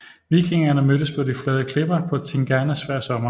Vikingerne mødtes på de flade klipper på Tinganes hver sommer